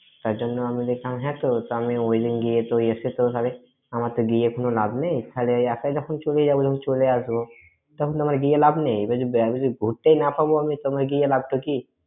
তার জন্য আমি দেখলাম আমি ওই দিন গিয়ে আমার তো গিয়ে কোনো লাভ নেই, যখন চলে যাব, যখন চলে আসব তখন আমার গিয়ে লাভ নেই। আমি যদি ঘুরতেই না পাব, আমার তবে লাভ টা কি?